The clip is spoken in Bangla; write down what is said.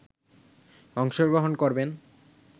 অংশগ্রহণ করবেন